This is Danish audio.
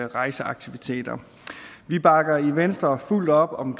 rejseaktiviteter vi bakker i venstre fuldt op om